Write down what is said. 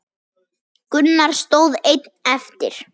Gunnar stóð einn eftir.